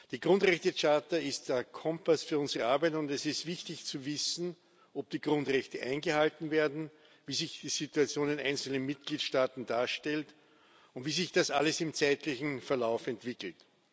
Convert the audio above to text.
Die Grundrechtecharta ist ein Kompass für unsere Arbeit, und es ist wichtig zu wissen, ob die Grundrechte eingehalten werden, wie sich die Situation in einzelnen Mitgliedstaaten darstellt und wie sich das alles im zeitlichen Verlauf entwickelt.